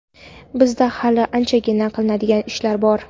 Bizda hali anchagina qilinadigan ishlar bor.